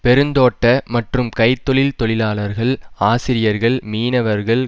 பெருந்தோட்ட மற்றும் கை தொழில் தொழிலாளர்கள் ஆசிரியர்கள் மீனவர்கள்